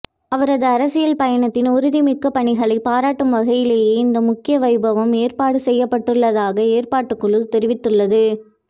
அவரது அரசியல் பயணத்தின் உறுதிமிக்க பணிகளை பாராட்டும் வகையிலேயே இந்த முக்கிய வைபவம் ஏற்பாடு செய்யப்படுவதாக ஏற்பாட்டுக்குழு தெரிவித்துள்ளது